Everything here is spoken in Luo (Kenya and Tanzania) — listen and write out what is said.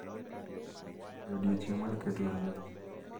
E odiechieng’ mar keto ruoth,